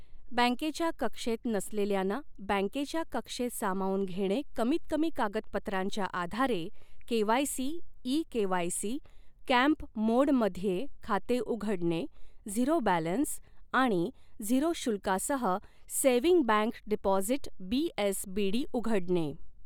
बँकेच्या कक्षेत नसलेल्याना बँकेच्या कक्षेत सामावून घेणे कमीतकमी कागदपत्रांच्या आधारे, KYC, e KYC, camp mode मध्ये खाते उघडणे, झिरो बॅलन्स आणि झिरो शुल्कासह सेव्हिंग बँक डिपॉझिट बीएसबीडी उघडणे